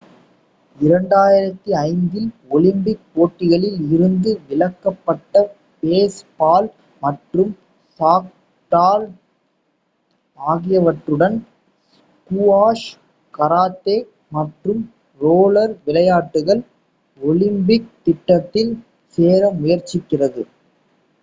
2005 இல் ஒலிம்பிக் போட்டிகளில் இருந்து விலக்கப்பட்ட பேஸ்பால் மற்றும் சாஃப்ட்பால் ஆகியவற்றுடன் ஸ்குவாஷ் கராத்தே மற்றும் ரோலர் விளையாட்டுகள் ஒலிம்பிக் திட்டத்தில் சேர முயற்சிக்கிறது